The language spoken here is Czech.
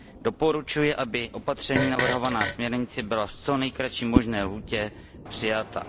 Doporučuji, aby opatření navrhovaná směrnicí byla v co nejkratší možné lhůtě přijata.